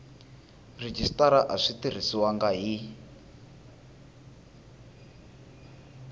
rhejisitara a swi tirhisiwangi hi